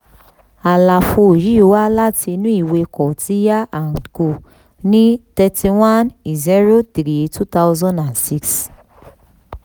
àlàfo yìí wá láti inú ìwé kautilya and co ní thirty one zero one two thousand and six